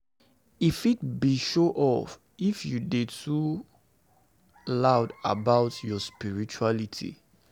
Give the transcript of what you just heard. E fit be show-off if you dey too loud about your spirituality.